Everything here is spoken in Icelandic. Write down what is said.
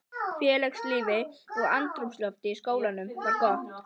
Félagslífið og andrúmsloftið í skólanum var gott.